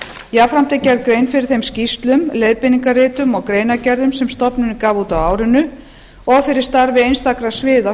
jafnframt er gerð grein fyrir þeim skýrslum leiðbeiningarritum og greinargerðum sem stofnunin gaf út á árinu og fyrir starfi einstakra sviða